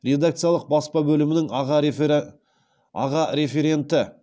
редакциялық баспа бөлімінің аға референті